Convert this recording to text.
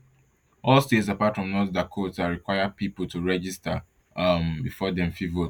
all states apart from north dakota require pipo to register um before dem fit vote